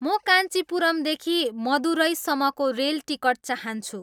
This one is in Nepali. म कान्चिपुरमदेखि मदुरईसम्मको रेल टिकट चाहन्छु